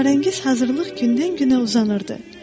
Əsrarəngiz hazırlıq gündən-günə uzanırdı.